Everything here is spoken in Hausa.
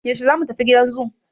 Yashe zamu tafi gidan zoo?